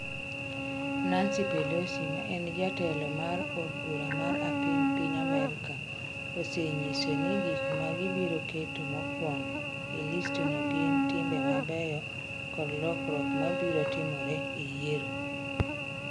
Nancy Pelosi, ma e jatelo mar od bura mar apiny piny Amerka, osenyisogi ni gik ma gibiro keto mokwongo e listno gin timbe mabeyo kod lokruok ma biro timore e yiero.